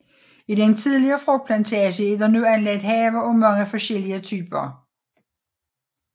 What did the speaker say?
I den tidligere frugtplantage er der nu anlagt haver af mange forskellige typer